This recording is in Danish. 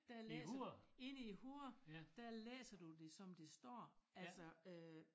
Der læser inde i hovedet der læser du det som det står altså øh